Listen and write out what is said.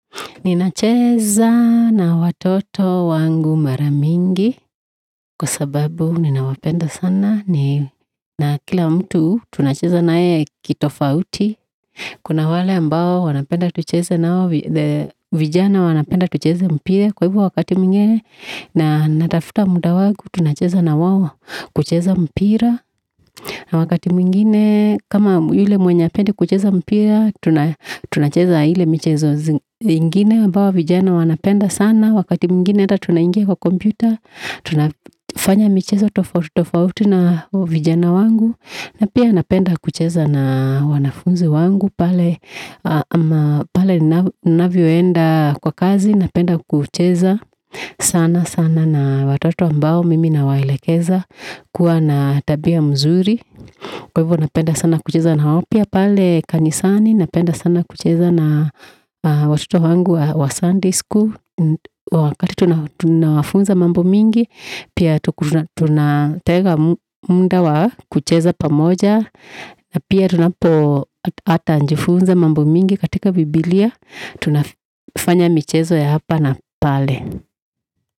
Ninacheza na watoto wangu mara mingi kwa sababu ninawapenda sana. Na kila mtu tunacheza na yeye kitofauti. Kuna wale ambao wanapenda tunacheze nao vijana wanapenda tunacheze mpira. Kwa hivo wakati mwingine natafuta muda wangu tunacheza na wao kucheza mpira. Na wakati mwingine kama yule mwenye hapendi kucheza mpira tunacheza ile michezo zingine. Ambao vijana wanapenda sana. Wakati mwingine hata tunaingia kwa kompyuta. Tunafanya michezo tofauti tofauti na vijana wangu. Na pia napenda kucheza na wanafunzi wangu pale. Pale ninavyoenda kwa kazi, napenda kucheza sana sana. Na watoto ambao mimi nawaelekeza kua na tabia mzuri. Kwa hivo napenda sana kucheza na wao pia pale. Kanisani napenda sana kucheza na watoto wangu wa sunday school. Wakati tunawafunza mambo mingi. Pia tunatega muda wa kucheza pamoja. Pia tunapo ata jifunza mambo mingi katika bibilia. Tunafanya michezo ya hapa na pale.